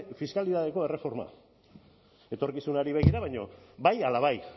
fiskalitateko erreforma etorkizunari begira baina bai ala bai